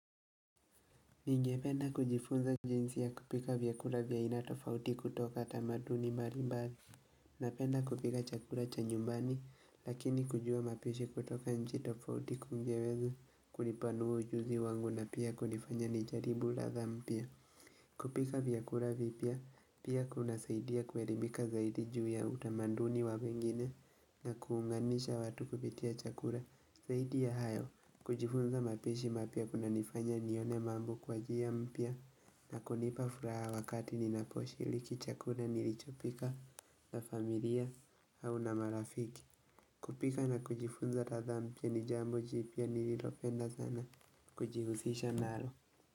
Ningependa kujifunza jinsi ya kupika vyakura vya aina tofauti kutoka tamaduni mbali mbali. Napenda kupika chakura chanyumbani, lakini kujua mapishi kutoka nchi tofauti kungeweza kunipanua ujuzi wangu na pia kunifanya nijaribu ladha mpya. Kupika vyakura vipya pia kuna saidia kuerimika zaidi juu ya utamanduni wa wengine na kuunganisha watu kupitia chakura zaidi ya hayo kujifunza mapishi mapya kuna nifanya nione mambo kwa njia mpya na kunipa furaha wakati ninaposhi liki chakura nilichopika na familia au na marafiki kupika na kujifunza ratha mpya nijambo jipya nililopenda sana kujihusisha nalo.